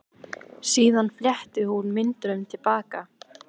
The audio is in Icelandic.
Síðan fletti hún myndunum til baka.